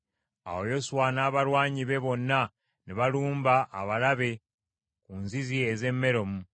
Awo Yoswa n’abalwanyi be bonna ne balumba abalabe ku nzizi ez’e Meromu.